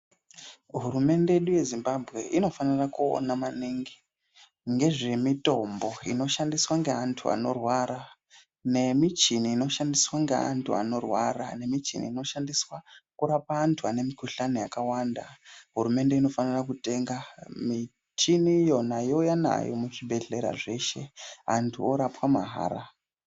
Hurumende yedu yeZimbabwe inofanira kuona maningi ngezvemitombo inoshandiswa ngevantu vanorwara nemichini inoshandiswa ngeantu anorwara nemichini inoshandiswa kurapa antu vane mikuhlani yakawanda hurumende inofana kutenga michini yona youya nayo muzvibhedhleya zveshe antu orapwa mahara.